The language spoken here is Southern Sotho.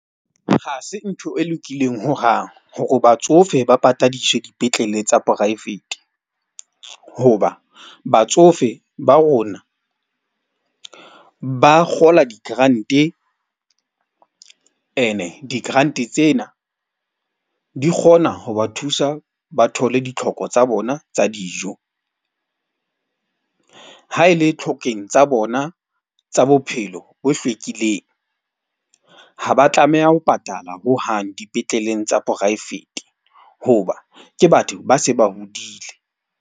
Ha se ntho e lokileng hohang hore batsofe ba patadiswe dipetleleng tsa poraefete. Hoba batsofe ba rona ba kgola di-grant-ene di-grant tsena di kgona ho ba thusa, ba thole ditlhoko tsa bona tsa dijo. Ha e le tlhokeng tsa bona tsa bophelo bo hlwekileng. Ha ba tlameha ho patala hohang dipetleleng tsa poraefete. Hoba ke batho ba se ba hodile.